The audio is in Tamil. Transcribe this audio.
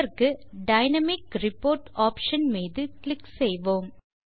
இதற்கு டைனாமிக் ரிப்போர்ட் ஆப்ஷன் மீது கிளிக் செய்வோம்